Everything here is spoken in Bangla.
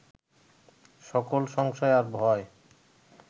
সকল সংশয় আর ভয়